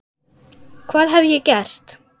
hvað hef ég gert?